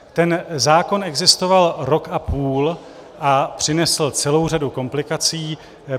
Ten zákon existoval rok a půl a přinesl celou řadu komplikací.